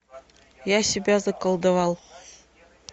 я себя заколдовал